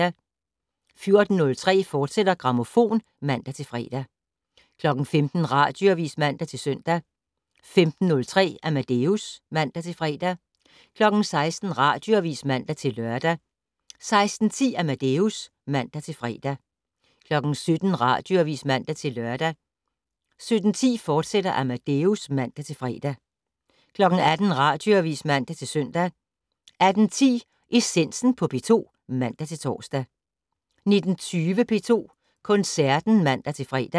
14:03: Grammofon, fortsat (man-fre) 15:00: Radioavis (man-søn) 15:03: Amadeus (man-fre) 16:00: Radioavis (man-lør) 16:10: Amadeus (man-fre) 17:00: Radioavis (man-lør) 17:10: Amadeus, fortsat (man-fre) 18:00: Radioavis (man-søn) 18:10: Essensen på P2 (man-tor) 19:20: P2 Koncerten (man-fre)